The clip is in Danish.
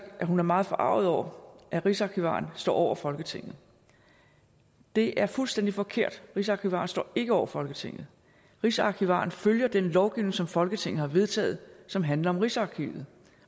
hun er meget forarget over at rigsarkivaren står over folketinget det er fuldstændig forkert rigsarkivaren står ikke over folketinget rigsarkivaren følger den lovgivning som folketinget har vedtaget som handler om rigsarkivet